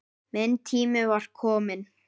Minn tími var kominn.